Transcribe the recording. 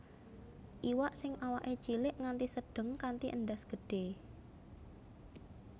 Iwak sing awaké cilik nganti sedheng kanthi endhas gedhÉ